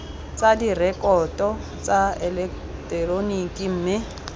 tsa direkoto tsa eleketeroniki mme